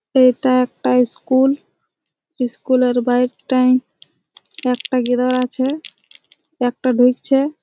এটা একটা school school এর বাহির তাই একটা গিরা আছে একটা ঢুকছে।